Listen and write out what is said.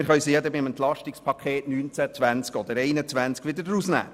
Wir können sie dann im Rahmen der Entlastungspakete 2019, 2020 oder 2021 wieder streichen.